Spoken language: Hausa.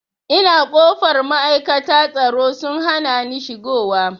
Ina kofar ma'aikata tsaro sun hanani shigo wa